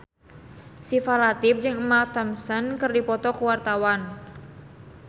Syifa Latief jeung Emma Thompson keur dipoto ku wartawan